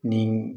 Ni